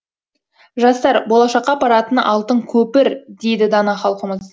жастар болашаққа апаратын алтын көпір дейді дана халқымыз